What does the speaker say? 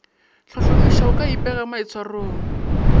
hlohlomiša go ka ipea maitshwarong